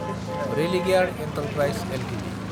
Religare enterprises Ltd